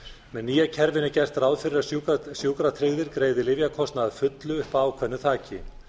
með nýja kerfinu er gert ráð fyrir að sjúkratryggðir greiði lyfjakostnað að fullu upp að ákveðnu þaki